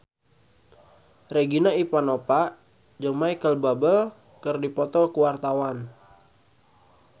Regina Ivanova jeung Micheal Bubble keur dipoto ku wartawan